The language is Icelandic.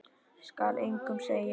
Skal engum segja.